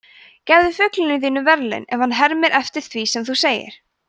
gefðu fuglinum þínum verðlaun ef hann hermir eftir því sem þú segir